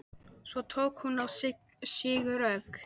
Svo tók hún á sig rögg.